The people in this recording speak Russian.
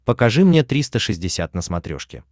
покажи мне триста шестьдесят на смотрешке